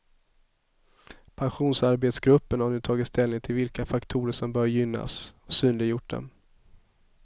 Pensionsarbetsgruppen har nu tagit ställning till vilka faktorer som bör gynnas, och synliggjort dem.